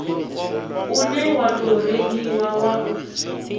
une wa tou rengiwa u